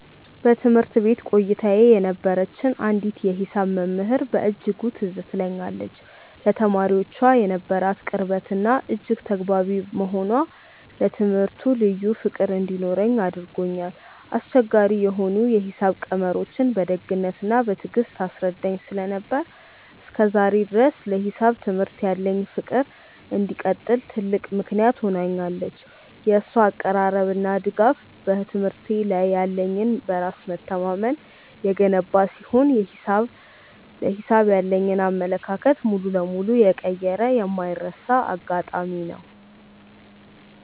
በትምህርት ቤት ቆይታዬ የነበረችኝ አንዲት የሂሳብ መምህር በእጅጉ ትዝ ትለኛለች፤ ለተማሪዎቿ የነበራት ቅርበትና እጅግ ተግባቢ መሆኗ ለትምህርቱ ልዩ ፍቅር እንዲኖረኝ አድርጎኛል። አስቸጋሪ የሆኑ የሂሳብ ቀመሮችን በደግነትና በትዕግስት ታስረዳኝ ስለነበር፣ እስከ ዛሬ ድረስ ለሂሳብ ትምህርት ያለኝ ፍቅር እንዲቀጥል ትልቅ ምክንያት ሆናኛለች። የእሷ አቀራረብና ድጋፍ በትምህርቴ ላይ ያለኝን በራስ መተማመን የገነባ ሲሆን፣ ለሂሳብ ያለኝን አመለካከት ሙሉ በሙሉ የቀየረ የማይረሳ አጋጣሚ ነው።